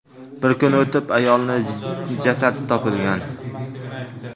Bir kun o‘tib, ayolning jasadi topilgan.